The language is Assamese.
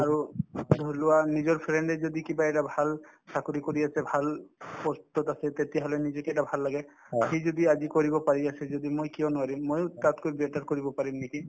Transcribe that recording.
আৰু ধৰিলোৱা নিজৰ friend য়ে যদি কিবা এটা ভাল চাকৰি কৰি আছো ভাল post তত আছে তেতিয়াহলে নিজকে এটা ভাল লাগে সি যদি আজি কৰিব পাৰি আছে যদি মই কিয় নোৱাৰিম ময়ো তাতকৈ better কৰিব পাৰিম নেকি